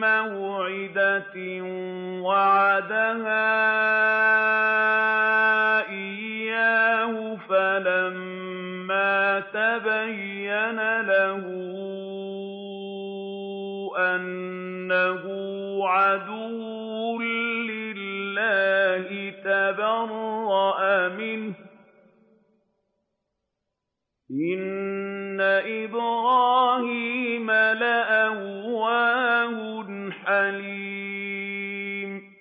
مَّوْعِدَةٍ وَعَدَهَا إِيَّاهُ فَلَمَّا تَبَيَّنَ لَهُ أَنَّهُ عَدُوٌّ لِّلَّهِ تَبَرَّأَ مِنْهُ ۚ إِنَّ إِبْرَاهِيمَ لَأَوَّاهٌ حَلِيمٌ